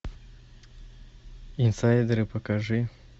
инсайдеры покажи